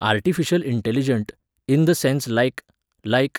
artificial intelligent, in the sense like, like